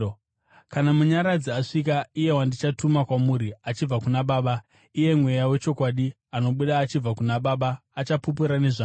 “Kana Munyaradzi asvika, iye wandichatuma kwamuri achibva kuna Baba, iye Mweya wechokwadi anobuda achibva kuna Baba, achapupura nezvangu.